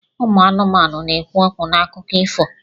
Ụmụ anụmanụ na-ekwu okwu n'akụkọ ifo.